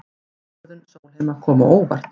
Ákvörðun Sólheima kom á óvart